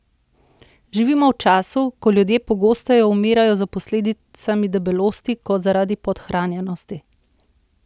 Živimo v času, ko ljudje pogosteje umirajo za posledicami debelosti kot zaradi podhranjenosti!